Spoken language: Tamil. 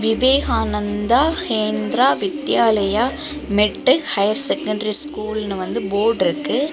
Vivekananda Kendra Vidyalaya matric higher secondary ஸ்கூல்னு வந்து போர்ட்ருக்கு .